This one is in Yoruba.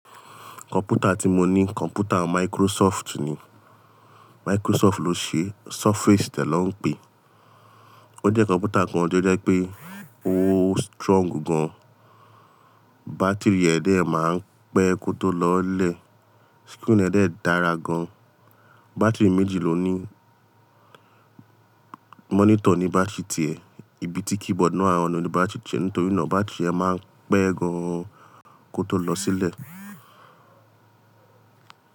Kọ̀mpútà tí mo ní kọ̀mpútà Microsoft ni, Microsoft ló ṣe Surface je ló ń pè, ó jẹ́ kọ̀mpútà kan tí ó jẹ́ pé ó strong gan, bátìrì rẹ̀ dẹ́ máa ń pẹ́ kó tó lọlẹ̀, screen rẹ̀ dẹ́ dára gan, bátìrì méjì ló ní, monitor ni battery tie, ibi tí keyboard náà wa o ní battery tie, nítorí náà battery ẹ máa ń pẹ́ gan kó tó lọ sílẹ̀.